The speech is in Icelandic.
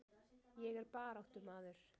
Ég er baráttumaður.